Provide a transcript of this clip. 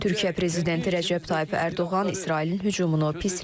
Türkiyə prezidenti Rəcəb Tayyib Ərdoğan İsrailin hücumunu pisləyib.